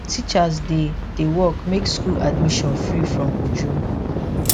teachers dey dey work make school admission free from ojoro